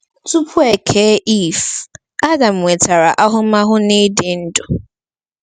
Tupu e kee Iv, Adam nwetara ahụmahụ n’ịdị ndụ.